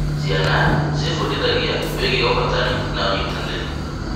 Ciana ciebundithagia wĩgiĩ ũhotani na ũnyitanĩri.